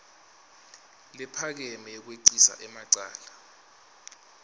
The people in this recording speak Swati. lephakeme yekwengcisa emacala